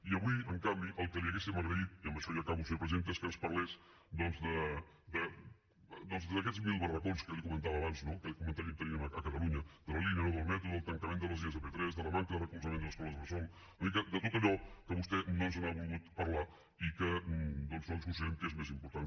i avui en canvi el que li hauríem agraït i amb això ja acabo senyora presidenta és que ens parlés doncs d’aquests mil barracons que jo li comentava abans no que continuem tenint a catalunya de la línia nou del metro del tancament de línies de p3 de la manca de recolzament a les escoles bressol una mica de tot allò que vostè no ens n’ha volgut parlar i que doncs nosaltres considerem que és més important